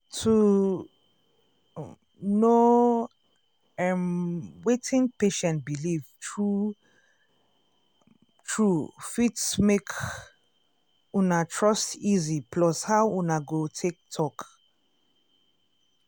to um know erm wetin patient believe true um true fit make um una trust easy plus how una go take talk.